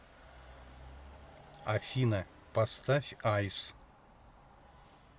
афина поставь айс